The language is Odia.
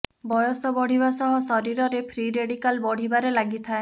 ବୟସ ବଢ଼ିବା ସହ ଶରୀରରେ ଫ୍ରି ରେଡିକାଲ ବଢ଼ିବାରେ ଲାଗିଥାଏ